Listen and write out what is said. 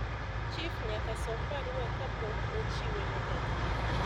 chif nyaka som barua kapok ochiwe ne janyuol